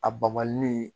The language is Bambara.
A babali